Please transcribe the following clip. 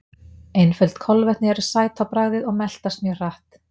Einföld kolvetni eru sæt á bragðið og meltast mjög hratt.